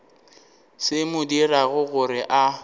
se mo dirago gore a